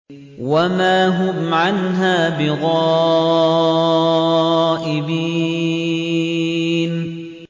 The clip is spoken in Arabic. وَمَا هُمْ عَنْهَا بِغَائِبِينَ